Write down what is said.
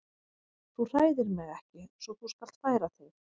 Þú hræðir mig ekki svo þú skalt færa þig.